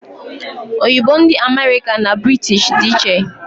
Oyibo ndị America na British dị iche